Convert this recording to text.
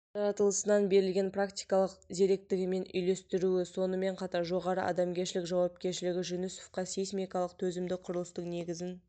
жаратылысынан берілген практикалық зеректігімен үйлестіруі сонымен қатар жоғары адамгершілік жауапкершілігі жүнісовқа сейсмикалық төзімді құрылыстың негізін